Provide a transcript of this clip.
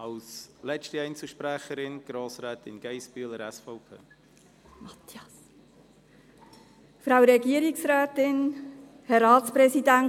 Als letzter Einzelsprecherin erteile ich Sabina Geissbühler von der SVP das Wort.